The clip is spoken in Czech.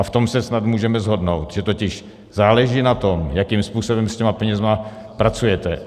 a v tom se snad můžeme shodnout, že totiž záleží na tom, jakým způsobem s těmi penězi pracujete.